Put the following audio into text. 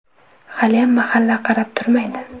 Haliyam mahalla qarab turmaydi.